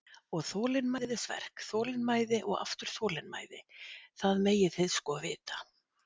Og þolinmæðisverk, þolinmæði og aftur þolinmæði, það megið þið sko vita.